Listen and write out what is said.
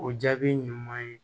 O jaabi ɲuman ye